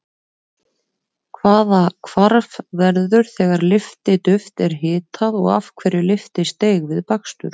Hvaða hvarf verður þegar lyftiduft er hitað og af hverju lyftist deig við bakstur?